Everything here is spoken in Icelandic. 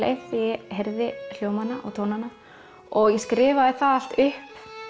heyrði hljómana og tónana og ég skrifaði það allt upp